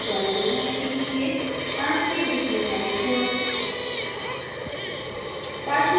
इस tutorial में हम सीखेंगे: अणु के दिखने वाले गुण